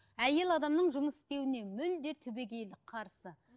әйел адамның жұмыс істеуіне мүлдем түбегейлі қарсы